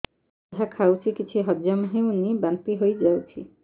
ଯାହା ଖାଉଛି କିଛି ହଜମ ହେଉନି ବାନ୍ତି ହୋଇଯାଉଛି